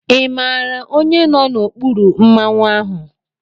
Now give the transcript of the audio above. Ị maara onye nọ n'okpuru Mmanwu ahụ?